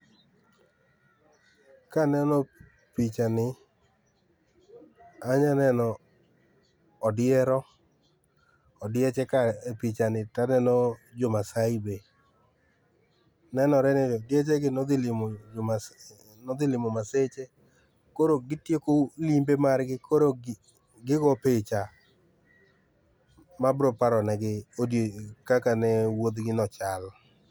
Kaneno pichani ,anya neno odiero, odieche ka e pichani taneno jo maasai be, nenore ni odieche gi nodhi limo jo maasai, ne odhi limo maseche koro gitieko limbe margi koro gigo picha mabro paro negi odio ,kaka ne wuodh gi no chalo